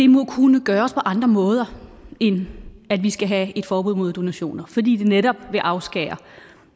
må kunne gøres på andre måder end at vi skal have et forbud mod donationer fordi det netop vil afskære